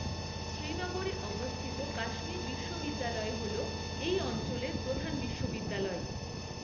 শ্রীনগরে অবস্থিত কাশ্মীর বিশ্ববিদ্যালয় হল এই অঞ্চলের প্রধান বিশ্ববিদ্যালয়।